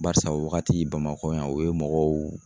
Barisa o wagati Bamakɔ yan o ye mɔgɔw